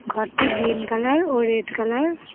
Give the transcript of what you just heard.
ঘরটি green colour ও red colour.